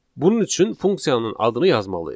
Bunun üçün funksiyanın adını yazmalıyıq.